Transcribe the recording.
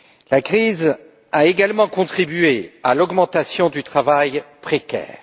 La crise a également contribué à l'augmentation du travail précaire.